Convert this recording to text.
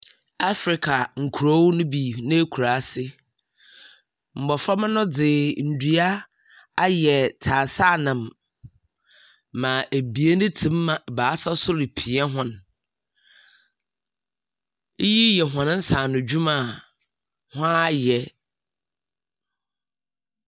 Africa nkurow no bi n'ekuraase. Mboframba no dze ndua ayɛ tsasanam ma ebien tse mu m ebaasa nso repia hɔn. Iyi yɛ hɔn nsaanodwuma a hɔn ayɛ.